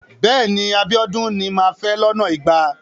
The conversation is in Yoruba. Bẹ́ẹ̀ni. Abíọ́dún ni màá fẹ́ lọ́nà igba.